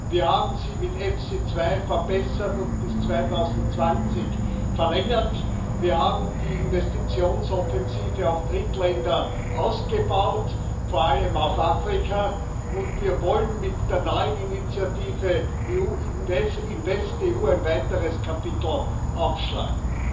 Wir haben sie mit EFSI 2 verbessert und bis 2020 verlängert. Wir haben die Investitionsoffensive auf Drittländer ausgeweitet vor allem auf Afrika und wir wollen mit der neuen Initiative InvestEU ein weiteres Kapitel aufschlagen.